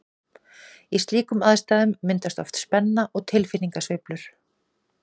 Í slíkum aðstæðum myndast oft spenna og tilfinningasveiflur.